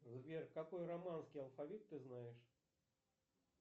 сбер какой романский алфавит ты знаешь